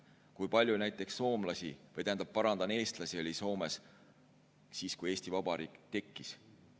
Kui palju näiteks eestlasi oli Soomes siis, kui Eesti Vabariik tekkis?